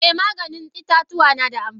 Eh Maganin itatuwa nada amfani.